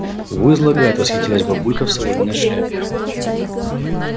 во излагает восхитилась бабулька в соломенной шляпе